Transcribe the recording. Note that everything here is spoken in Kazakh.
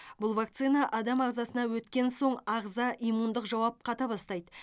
бұл вакцина адам ағзасына өткен соң ағза иммундық жауап қата бастайды